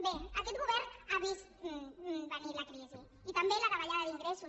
bé aquest govern ha vist venir la crisi i també la davallada d’ingressos